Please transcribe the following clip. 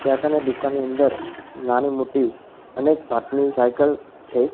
ત્યાં કને દુકાનની અંદર નાની મોટી અને એક ની સાઇકલ છે.